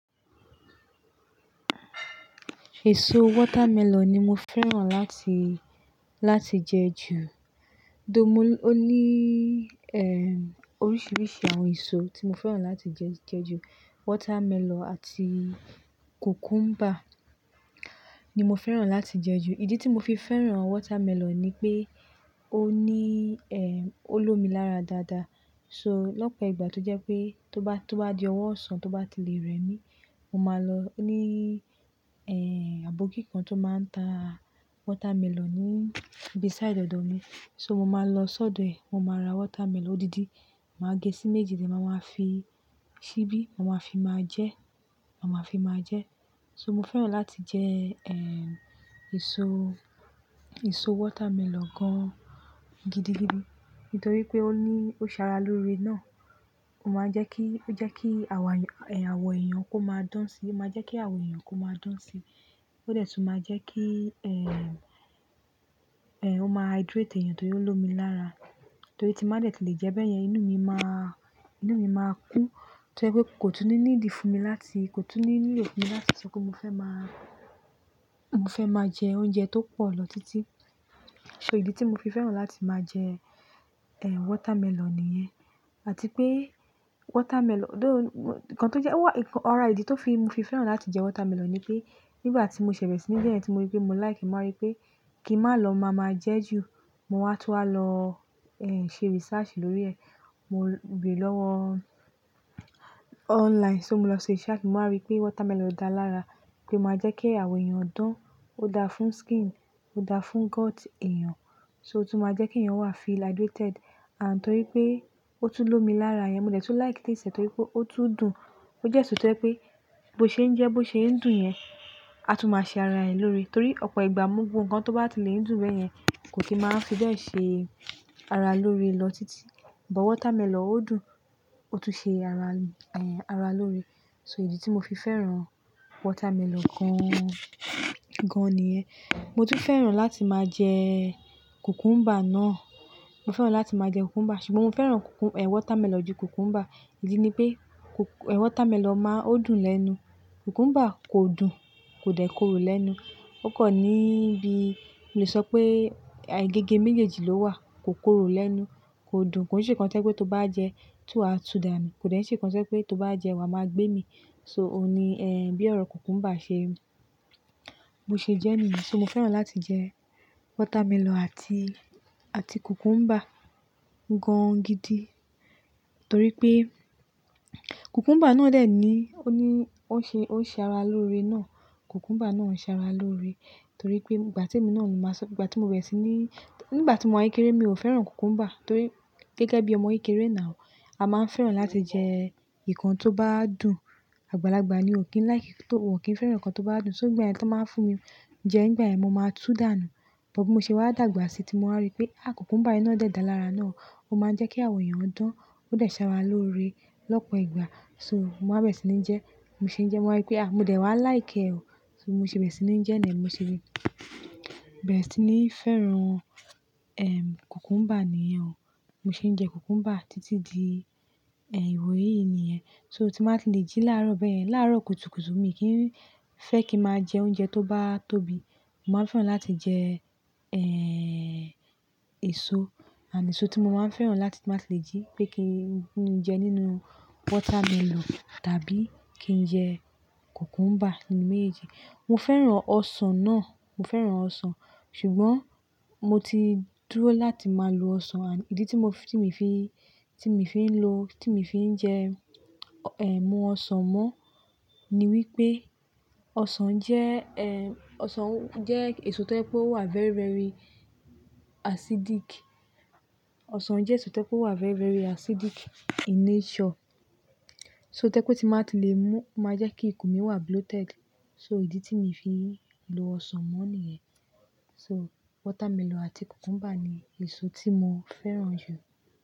Èso watermelon ni mo fẹ́ràn láti, láti jẹ jù. Do mo ó ní, eh, oríṣiríṣi àwọn èso tí mo fẹ́ràn láti jẹ, jẹ jù. Watermelon àti cucumber ni mo fẹ́ràn láti jẹ jù. Ìdí tí mo fi fẹ́ràn watermelon ni pé ó ní, eh, ó lómi lára dáadáa. So lọ́pọ̀ ìgbà tó jẹ́ pé tó bá, tó bá di ọwọ́ ọ̀sán tó bá ti le rẹmi, mo máa lọ ní, eh, abọ́kí kan tó máa ń ta watermelon ní beside ọ̀dọ̀ mi. So mo máa lọ sọ́dọ̀ ẹ̀. Mo máa ra watermelon odidi. Máa gé sí méjèèjì, máa ń fi síbí, máa ń fi máa jẹ, màá fi máa jẹ. So mo fẹ́ràn láti jẹ, èso watermelon gan gidi-gidi nítorí pé ó ní, ó ṣara loore náà. Ó máa ń jẹ́ kí, ó jẹ́ kí àwọ èèyàn kó máa dán si. Ó máa jẹ́ kí àwọ èèyàn kó máa dán si. Ó dẹ̀ tún máa jẹ́ kí, ó máa hydrate èèyàn torí ó lómi lára. Torí tí mbá dẹ̀ tí lè jẹ́ bẹ́ẹ̀ yẹn, inú mi máa, inú mi máa kú. Torí pé kò tún ní needi fún mi láti, kò tún ní ní lò funmi láti sọ pé mo fẹ́ má, mo fẹ́ máa jẹ oúnjẹ tó pọ̀ lọ títí. So ìdí tí mo fi fẹ́ràn láti máa jẹ, eh, watermelon nìyẹn. Àti pé watermelon, though, ara ìdí ti mo fi fẹ́ràn láti jẹ watermelon ni pé nígbà tí mo ṣẹ̀ bẹ̀re sí ni je yẹ̀ tí mo rí pé mo like e, mo wa rí pé kí malọ máa máa jẹ jù, mo wá túwa lọ ṣe research lórí ẹ̀. Mo bere lọ́wọ́ online, so mo lọ ṣe research, mo wá rí pé watermelon dáa lára, pé ó máa jẹ́ kí àwọn èèyàn dán, ó dáa fún skin, ó dáa fún gut èèyàn, so ó tún máa jẹ́ kí ẹ̀yàn wà feel hydrated. Àn torí pé ó tún lómi lára, mo dẹ̀ tún like taste e torí pé ó tún dùn. Ó jẹ́ eṣo tẹ́ jé pe bó ṣe ń jẹ́, bó ṣe ń dùn yẹn, a tún máa ṣe ara ẹ̀ lóore. Torí ọ̀pọ̀ ìgbà, gbogbo nǹkan tó bá ti lè ń dùn bẹ́yẹn kò kin máa fi bẹ́ẹ̀ ṣe ara lóore lọ títí. But watermelon ó dùn, ó tún ṣe ara lóore. So ìdí tí mo fi fẹ́ràn watermelon gan, gan nìyẹn. Mo tún fẹ́ràn láti máa jẹ cucumber náà. Mo fẹ́ràn láti máa jẹ cucumber. Ṣùgbọ́n mo fẹ́ràn watermelon ju cucumber. Ìdí ni pé watermelon máa dùn lẹ́nu. Cucumber kò dùn, kò dẹ̀ korò lẹ́nu. Ó kàn níbi, mo lè sọ pé gẹ́gẹ́ méjèèjì ló wà. Kò korò lẹ́nu, kò dùn. Kò se nǹkan tí o jé pe tó bá jẹ ti wa tún dànù. Kò dé se nǹkan tí tó bá jẹ wa máa gbé mi. So òun ni, bí ọ̀rọ̀ cucumber ṣe, bó ṣe jẹ́ niye. So mo fẹ́ràn láti jẹ watermelon àti, àti cucumber gan gidi torí pé cucumber náà dẹ̀ ní, ó ní, ó ṣe, ó ṣe ara lóore náà. Cucumber náà ṣe ara lóore torí pé ìgbà tí emi náà ni màá sọ, ìgbà tí mo berẹ̀ sí ní, nígbà tí mo wà kéré mi ò fẹ́ràn cucumber torí gẹ́gẹ́ bí ọmọ kékeré náà ò, a máa ń fẹ́ràn láti jẹ nǹkan tó bá dùn. Àgbàlagbà ni ò kí n lìke ti wò kí ń fẹ́ràn nǹkan tó bá dùn. So ni gbaye tí wọ́n báa ń fún mi jẹ nigba yen mo máa tú dànù. But bí mo ṣe wà dàgbà síi tí mo wá rí pé cucumber e na dẹ́ dáa lára náà. Ó máa ń jẹ́ kí àwọn èèyàn dán, ó dẹ̀ ṣe ara lóore lọ́pọ̀ ìgbà. So mo wá bẹ̀rẹ̀ sí ní majẹ, bi mo ṣe ń jẹ ẹ, mo wa rí pé ah mo dẹ̀ wá like ẹ ò. So mo ṣe bẹ̀rẹ̀ sí ní jẹ ẹ nìyẹn, mo ṣe bẹ̀rẹ̀ sí ní fẹ́ràn, cucumber nìyẹn ò. Mo ṣe ń jẹ cucumber títí di ìwòyí nìyẹn. So tí bàá ti lè jí láàárọ̀ bẹ́yẹn, láàárọ̀ kùtùkùtù mi kìn fẹ́ kí màá jẹ oúnjẹ tó bá tóbi. Mo máa ń fẹ́ràn láti jẹ, eh, èso. Ànd èso tí mo máa ń fẹ́ràn láti timbáa ti lè jí pé kí n jẹ nínú watermelon tàbí kí n jẹ cucumber nínú méjèèjì. Mo fẹ́ràn ọsàn náà. Mo fẹ́ràn ọsàn. Ṣùgbọ́n mo ti dúró láti máa lo ọsàn. Ànd ìdí tí mio fi mu ọsàn mo ni wípé ọsàn jẹ́ èso tó jẹ pé ó wà very, very acidic. Ọsàn jẹ́ èso tó jẹ éso tó wà very, very acidic in nature. So tó jẹ pé tímbàá ti lè mú, o máa jẹ́ kí ikùn mi wà bloated. So ìdí tí mo fi ń lo ọsàn mọ́ nìyẹn. So watermelon àti cucumber ni èso tí mo fẹ́ràn jù.